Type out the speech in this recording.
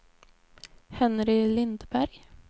Henry Lindberg